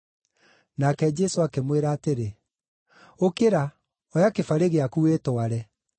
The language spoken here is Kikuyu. Nake Jesũ akĩmwĩra atĩrĩ, “Ũkĩra, oya kĩbarĩ gĩaku, wĩtware!”